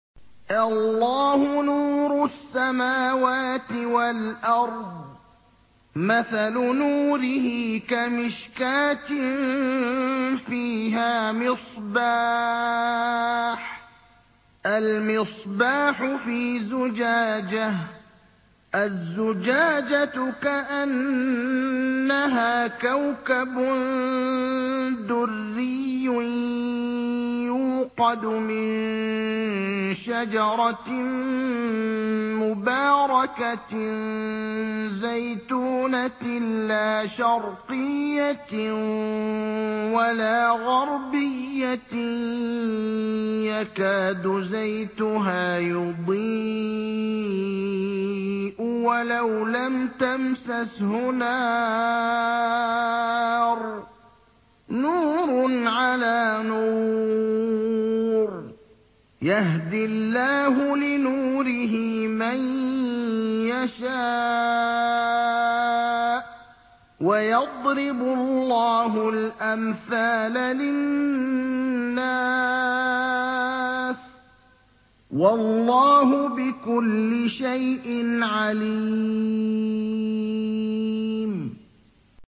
۞ اللَّهُ نُورُ السَّمَاوَاتِ وَالْأَرْضِ ۚ مَثَلُ نُورِهِ كَمِشْكَاةٍ فِيهَا مِصْبَاحٌ ۖ الْمِصْبَاحُ فِي زُجَاجَةٍ ۖ الزُّجَاجَةُ كَأَنَّهَا كَوْكَبٌ دُرِّيٌّ يُوقَدُ مِن شَجَرَةٍ مُّبَارَكَةٍ زَيْتُونَةٍ لَّا شَرْقِيَّةٍ وَلَا غَرْبِيَّةٍ يَكَادُ زَيْتُهَا يُضِيءُ وَلَوْ لَمْ تَمْسَسْهُ نَارٌ ۚ نُّورٌ عَلَىٰ نُورٍ ۗ يَهْدِي اللَّهُ لِنُورِهِ مَن يَشَاءُ ۚ وَيَضْرِبُ اللَّهُ الْأَمْثَالَ لِلنَّاسِ ۗ وَاللَّهُ بِكُلِّ شَيْءٍ عَلِيمٌ